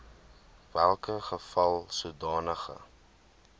welke geval sodanige